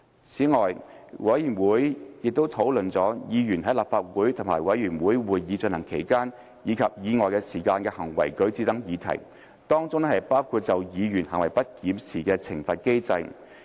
此外，委員會亦討論了議員在立法會和委員會會議進行期間及以外時間的行為舉止等議題，當中包括就議員行為不檢作出懲罰的機制。